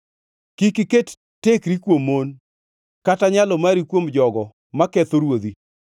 Kik iket tekri kuom mon, kata nyalo mari kuom jogo maketho ruodhi.